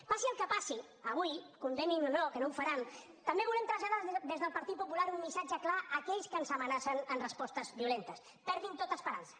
passi el que passi avui condemnin o no que no ho faran també volem traslladar des del partit popular un missatge clar a aquells que ens amenacen amb respostes violentes perdin tota esperança